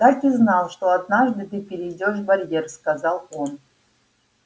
так и знал что однажды ты перейдёшь барьер сказал он